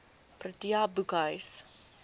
protea boekhuis